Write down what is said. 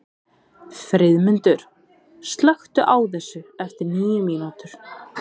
Friðmundur, slökktu á þessu eftir níu mínútur.